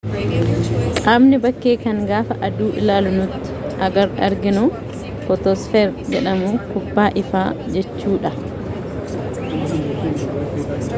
qaamni bakkee kan gaafa aduu ilaalu nuti arginu footosfeer jedhamu kubbaa ifaa jechuu dha